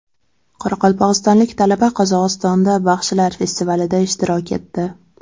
Qoraqalpog‘istonlik talaba Qozog‘istonda baxshilar festivalida ishtirok etdi.